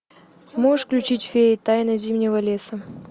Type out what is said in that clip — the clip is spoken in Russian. можешь включить феи тайна зимнего леса